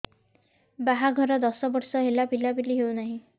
ବାହାଘର ଦଶ ବର୍ଷ ହେଲା ପିଲାପିଲି ହଉନାହି